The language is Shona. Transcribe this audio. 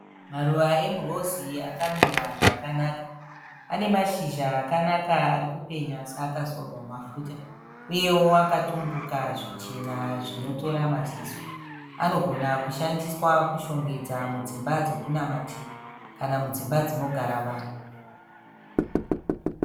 Maruva emurezi akamira zvakanaka anemashizha akanaka arikupenya seakazorwa mafuta uyewo akatumbuka zvichena zvinotora maziso. Anogona kushandiswa kushongedza mudzimba dzekunamatira kana mudzimba dzinogara vanhu